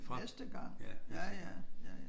Næste gang ja ja ja ja